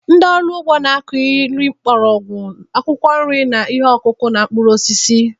Ndị ọrụ ugbo na-akụ nri mgbọrọgwụ, akwụkwọ nri, ihe ọkụkụ, na mkpụrụ osisi.